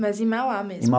Mas em Mauá mesmo?